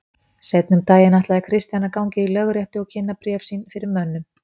Seinna um daginn ætlaði Christian að ganga í lögréttu og kynna bréf sín fyrir mönnum.